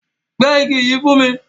Pẹ ìgi yi fún mi!